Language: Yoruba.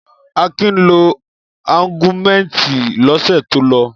Akin lo Augumentin lọ́sẹ̀ tó lọ.